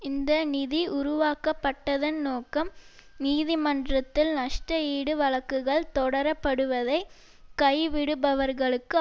இந்த நிதி உருவாக்கப்பட்டதன் நோக்கம் நீதிமன்றத்தில் நஷ்ட ஈடு வழக்குகள் தொடரப்படுவதை கைவிடுபவர்களுக்கு